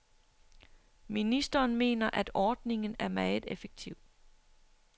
Ministeren mener, at ordningen er meget effektiv.